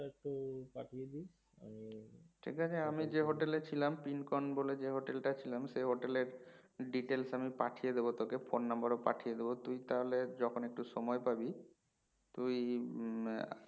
ঠিকআছে আমি যে hotel ছিলাম পিঙ্কন বলে যে hotel ছিলাম সেই hotel details আমি পাটিয়ে দেব তোকে phone number ও পাটিয়ে দেব তুই তাহলে যখন একটু সময় পাবি তুই উম